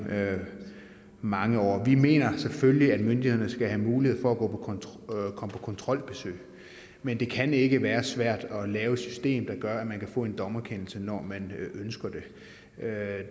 mange år vi mener selvfølgelig at myndighederne skal have mulighed for at komme på kontrolbesøg men det kan ikke være svært at lave et system der gør at man kan få en dommerkendelse når man ønsker det